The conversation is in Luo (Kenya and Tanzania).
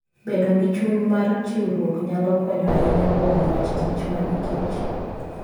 Bedo gi chuny mar chiwruok nyalo konyo ahinya kuom wach kich mag kich.